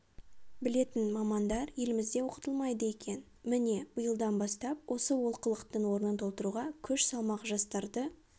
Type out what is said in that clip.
білетін мамандар елімізде оқытылмайды екен міне биылдан бастап осы олқылықтың орнын толтыруға күш салмақ жастарды